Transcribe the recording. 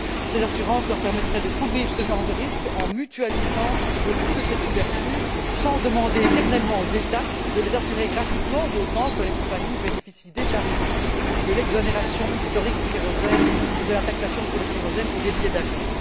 Ces assurances leur permettraient de couvrir ce genre de risque en mutualisant le coût de cette couverture, sans demander éternellement aux États de les assurer gratuitement, d'autant que les compagnies bénéficient déjà aujourd'hui de l'exonération historique de la taxation sur le kérosène et les billets d'avion.